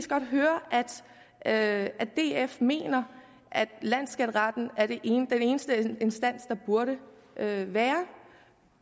kan høre at df mener at landsskatteretten er den eneste instans der burde være